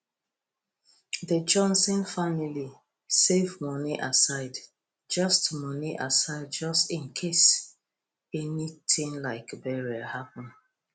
the johnson family save money aside just money aside just in case anything like burial happen